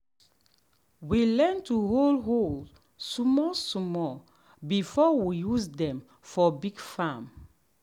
we learn to hold hoe small small before we use dem for big farm.